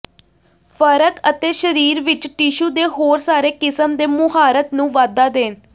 ਫਰਕ ਅਤੇ ਸਰੀਰ ਵਿੱਚ ਟਿਸ਼ੂ ਦੇ ਹੋਰ ਸਾਰੇ ਕਿਸਮ ਦੇ ਮੁਹਾਰਤ ਨੂੰ ਵਾਧਾ ਦੇਣ